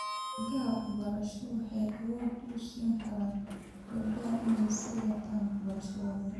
Deeqaha waxbarasho waxay awood u siin karaan gabdhaha inay sii wataan waxbarashadooda.